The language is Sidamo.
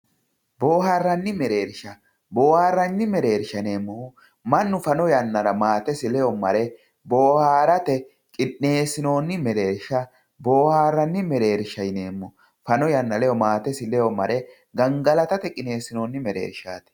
boohaarranni mereersha boohaarranni mereersha yineemmohu mannu fano yannara maatesi ledo mare boohaarate qixxeessinoonni mereersha boohaarranni mereershsha yineemmo fano yanna ledo maatesi ledo mare gangalatate qixeessinoonni mereershaati.